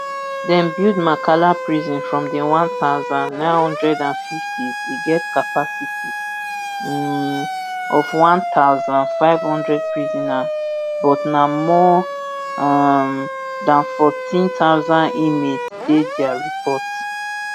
dem build makala prison from di one thousand, nine hundred and fiftys e get capacity um of one thousand, five hundred prisoners but na more um dan fourteen thousand inmates dey dia afp report